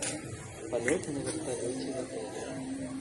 полеты на вертолете в отеле